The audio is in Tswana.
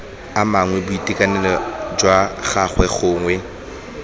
amang boitekanelo jwa gagwe gongwe